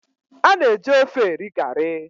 A na-eji ofe eri garri.